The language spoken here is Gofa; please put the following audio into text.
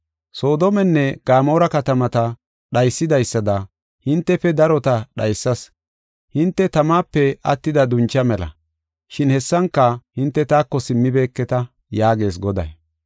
“Soodomenne Gamoora katamata dhaysidaysada hintefe darota dhaysas; hinte tamape attida duncha mela; shin hessanka hinte taako simmibeketa” yaagees Goday.